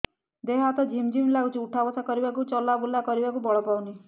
ଦେହେ ହାତ ଝିମ୍ ଝିମ୍ ଲାଗୁଚି ଉଠା ବସା କରିବାକୁ କି ଚଲା ବୁଲା କରିବାକୁ ବଳ ପାଉନି